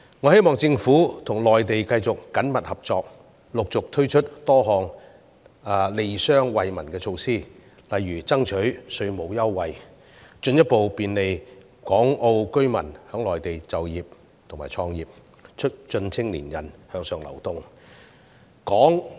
我希望政府跟內地繼續緊密合作，陸續推出多項利商惠民的措施，例如爭取稅務優惠，以進一步便利港澳居民在內地就業和創業，促進青年人向上流動。